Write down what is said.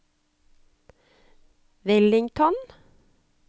Wellington